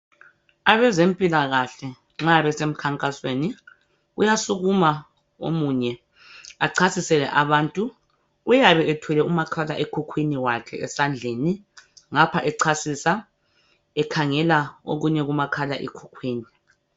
Abezempilakahle nxa besmkhankasweni, kuyasukuma omunye achasisele abantu. Uyabe ethwele umakhalekhukhwini wakhe esandleni, ngapha echasisa, ekhangela okunye kumakhalekhukhwini